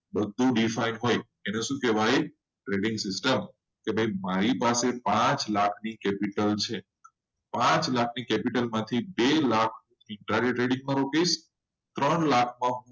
બધું define હોય એને શું કહેવાય trading system કે ભાઈ મારી પાસે પાંચ લાખની capital છે. પાંચ લાખની capital માંથી બે લાખની trading માં મુકિસ ત્રણ લાખમાં